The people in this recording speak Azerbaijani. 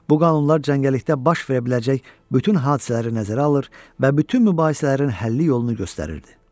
Bu qanunlar cəngəllikdə baş verə biləcək bütün hadisələri nəzərə alır və bütün mübahisələrin həlli yolunu göstərirdi.